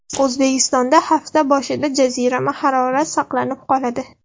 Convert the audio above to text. O‘zbekistonda hafta boshida jazirama harorat saqlanib qoladi.